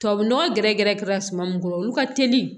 Tubabu nɔgɔ gɛrɛ gɛrɛ gɛrɛ suma min kɔrɔ olu ka teli